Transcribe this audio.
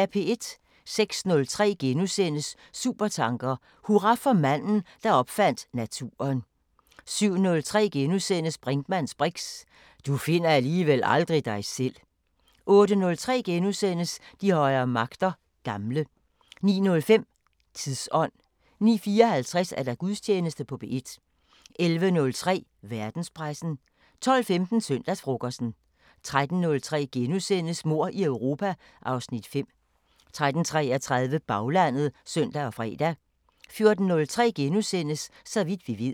06:03: Supertanker: Hurra for manden, der opfandt naturen * 07:03: Brinkmanns briks: Du finder alligevel aldrig dig selv * 08:03: De højere magter: Gamle * 09:05: Tidsånd 09:54: Gudstjeneste på P1 11:03: Verdenspressen 12:15: Søndagsfrokosten 13:03: Mord i Europa (Afs. 5)* 13:33: Baglandet (søn og fre) 14:03: Så vidt vi ved *